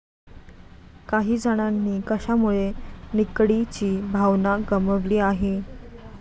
काही जणांनी कशामुळे निकडीची भावना गमावली आहे?